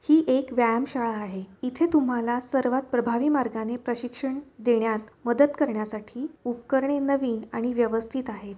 हि एक व्यायाम शाळा आहे इथे तुम्हाला सर्वात प्रभावी मार्गाने प्रशिक्षण देण्यात मदत करण्या साठी उपकरणे नवीन आणि व्यवस्थित आहे.